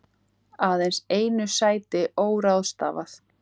Aðeins einu sæti óráðstafað